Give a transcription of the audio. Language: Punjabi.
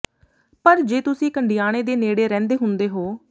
ਪਰ ਜੇ ਤੁਸੀਂ ਕੰਡਿਆਣੇ ਦੇ ਨੇੜੇ ਰਹਿੰਦੇ ਹੁੰਦੇ ਹੋ